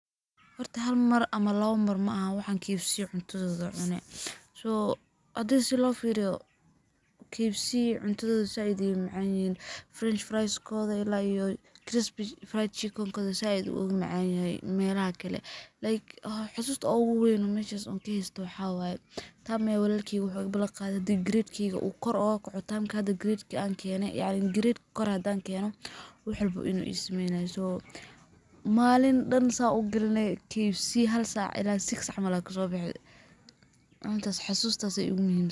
Horti hal mar ama labo mar ma ahaa, waxaan KFC cuntada danay. Soo adag si loo fiiriyo KFC cuntada zaid u macaanihin French fries kooda ilaa iyo crispy fried chicken kada saaid ugu macaan ihiin meelaha kala like. Xusuusta oo ugu weyn u meeshay ka hawey, taam meel waligeena wuxuu iga bulshada grade kiga u kor oo ku xutaan kaada grade aan keeno ee aan in grade kor adaan keeno wuxuu u buu inuu ismeynayo soo maalin dhallin sa u gelinayo KFC hal saac illaa six jamalka soo baxda. Maanta xusuustas igu muhimad.